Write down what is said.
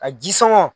A ji sama